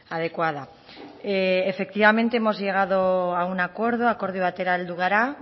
adecuada efectivamente hemos llegado a un acuerdo akordio batera heldu gara